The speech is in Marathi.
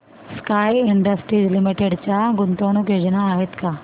स्काय इंडस्ट्रीज लिमिटेड च्या गुंतवणूक योजना आहेत का